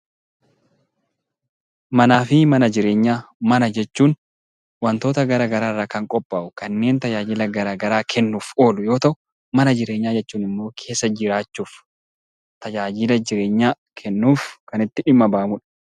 Manaa fi mana jireenyaa Mana jechuun waantota garaagaraa irraa kan qophaa'u kanneen tajaajila garaagaraa kennuuf oolu yoo ta'u, mana jireenyaa jechuun immoo keessa jiraachuuf tajaajila jireenyaa kennuuf kan itti dhimma bahamudha.